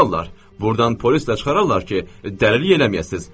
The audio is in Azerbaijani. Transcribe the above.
Burdan polislə çıxararlar ki, dəliliyin eləməyəsiniz.